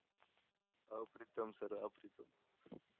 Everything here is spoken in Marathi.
अप्रितम सर अप्रितम.